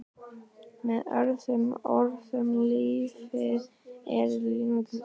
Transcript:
Með öðrum orðum- lífið er leiksýning.